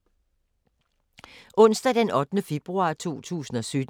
Onsdag d. 8. februar 2017